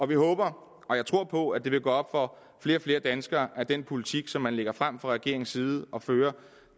vi håber og jeg tror på at det vil gå op for flere og flere danskere at den politik som man lægger frem fra regeringens side og fører